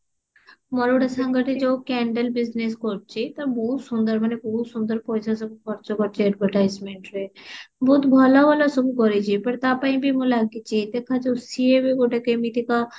ମୋର ଗୋଟେ ସାଙ୍ଗ ଟା ଯୋଉ candle business କରୁଛି ତାର ବହୁତ ସୁନ୍ଦର ମାନେ ବହୁତ ସୁନ୍ଦର ପଇସା ସବୁ ଖର୍ଚ୍ଚ କରିଛି advertisement ରେ ବହୁତ ଭଲ ଭଲ ସବୁ କରିଛି ମାନେ ତା ପାଇଁ ବି ମୁଁ ଲାଗିଛି ଦେଖାଯାଉ ସିଏ ବି ଗୋଟେ କେମିତିକା